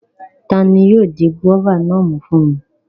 Tani yóò di gúróvà náà mú fún mi?